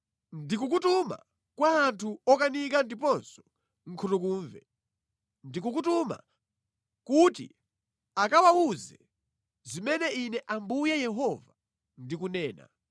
Ndikukutuma kwa anthu okanika ndiponso nkhutukumve. Ndikukutuma kuti akawawuze zimene Ine Ambuye Yehova ndikunena.